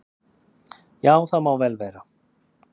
"""Já, það má vel vera."""